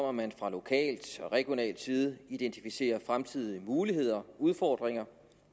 at man fra lokal og regional side identificerer fremtidige muligheder og udfordringer